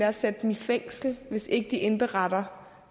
at sætte dem i fængsel hvis ikke de indberetter